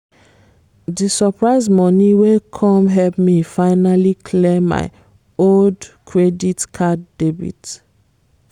di surprise money wey come help me finally clear my old credit card debt